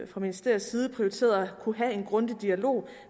fra ministeriets side prioriteret at kunne have en grundig dialog